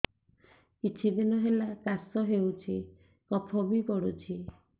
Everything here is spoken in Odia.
କିଛି ଦିନହେଲା କାଶ ହେଉଛି କଫ ବି ପଡୁଛି